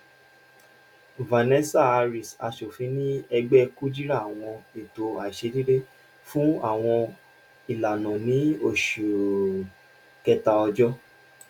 vanessa hariss aṣofin ni ẹgbẹ kujira awọn eto aiṣedede fun awọn ilana ni oṣu kẹta ọjọ